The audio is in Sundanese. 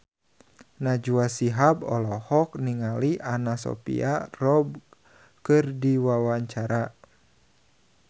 Najwa Shihab olohok ningali Anna Sophia Robb keur diwawancara